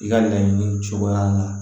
I ka laɲini cogoya la